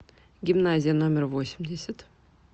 гимназия номер восемьдесят